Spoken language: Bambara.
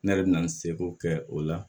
Ne yɛrɛ bɛ na n seko kɛ o la